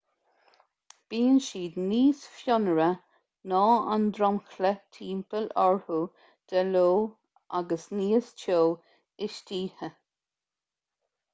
bíonn siad níos fionnuaire ná an dromchla timpeall orthu de ló agus níos teo istoíche